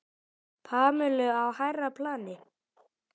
Pamelu á hærra plani.